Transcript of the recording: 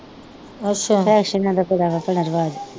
ਫੈਸ਼ਨਾ ਤਾ ਬੜਾ ਭੈਣਾਂ ਰਿਵਾਜ਼ ਈ